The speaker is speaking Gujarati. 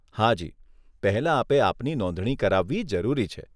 હાજી, પહેલાં આપે આપની નોંધણી કરાવવી જરૂરી છે.